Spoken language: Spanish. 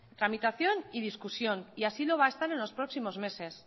tramitación y discusión y así lo va a estar en los próximos meses